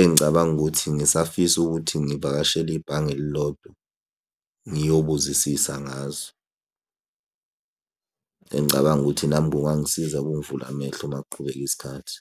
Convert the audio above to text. Engicabanga ukuthi ngisafisa ukuthi ngivakashele ibhange elilodwa ngiyobuzisisa ngazo. Engicabanga ukuthi nami kungangisiza kungivule amehlo uma kuqhubeka isikhathi.